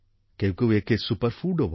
কেউ কেউ একে সুপার foodও বলে